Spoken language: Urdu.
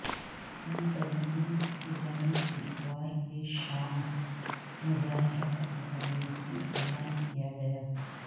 منتظمین کی جانب سے اتوار کی شام مظاہرہ ختم کرنے کی اعلان کیا گیا